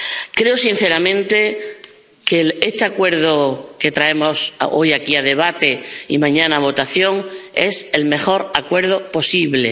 Creo sinceramente que este acuerdo que traemos hoy aquí a debate y mañana a votación es el mejor acuerdo posible.